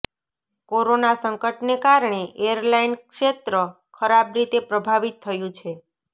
corona સંકટને કારણે airline ક્ષેત્ર ખરાબ રીતે પ્રભાવિત થયું છે